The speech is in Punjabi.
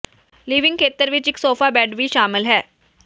ਲਿਵਿੰਗ ਖੇਤਰ ਵਿੱਚ ਇੱਕ ਸੋਫਾ ਬੈੱਡ ਵੀ ਸ਼ਾਮਲ ਹੈ